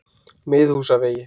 Miðhúsavegi